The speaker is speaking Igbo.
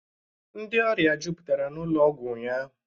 Ndị ọrịa jụpụtara n'ụlọ ọgwọ ụnyaahụ